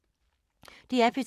DR P2